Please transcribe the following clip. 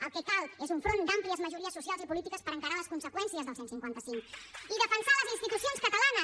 el que cal és un front d’àmplies majories socials i polítiques per encarar les conseqüències del cent i cinquanta cinc i defensar les institucions catalanes